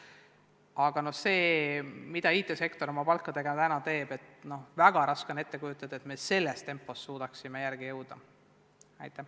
Aga kui arvestada, mida IT-sektor oma palkadega praegu teeb, siis väga raske on ette kujutada, et me selles tempos suudaksime nendega sammu pidada.